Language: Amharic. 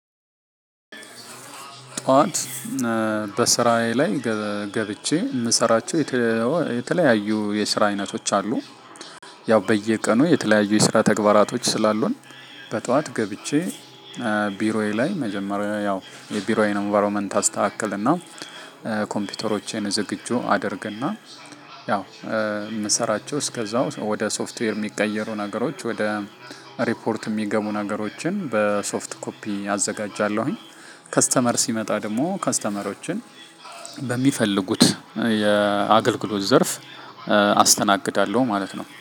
ጠዋት በስራዬ ላይ ገብቼ የምሰራቸው የተለያዩ የስራ አይነቶች አሉ። ያው በየቀኑ የተለያዩ የስራ ተግባራቶች ስላሉን በጠዋት ገብቼ። ቢሮዬ ላይ መጀመሪያ ያው የቢሮዬን ኢንቫይሮመንት አስተካክልና ኮምፒውተሮችን ዝግጁ አደርግና ያው የምሰራቸው እስከዛው ወደ ሶፍትዌር የሚቀየሩ ነገሮች ወደ ሪፖርት የሚገቡ ነገሮችን በሶፍት ኮፒ አዘጋጃለሁኝ። ከስተመር ሲመጣ ደሞ ከስተመሮችን በሚፈልጉት የአገልግሎት ዘርፍ አስተናግዳለው ማለት ነው